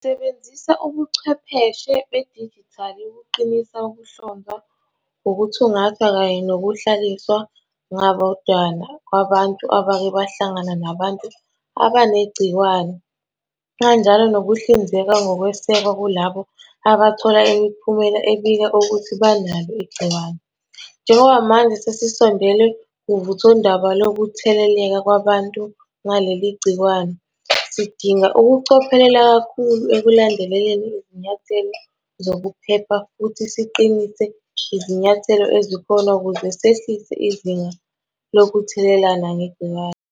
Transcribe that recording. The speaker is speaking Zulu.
Sisebenzisa ubuchwepheshe bedijithali ukuqinisa ukuhlonzwa, ukuthungathwa kanye nokuhlaliswa ngabodwana kwabantu abake bahlangana nabantu abanegciwane, kanjalo nokuhlinzeka ngokwesekwa kulabo abathola imiphumela ebika ukuthi banalo igciwane. Njengoba manje sesisondele kuvuthondaba lokutheleleka kwabantu ngaleli gciwane, sidinga ukucophelela kakhulu ekulandeleni izinyathelo zokuphepha futhi siqinise izinyathelo ezikhona ukuze sehlisa izinga lokuthelelana ngegciwane.